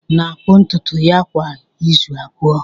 Ada na-akpụ ntutu ya kwa izu abụọ.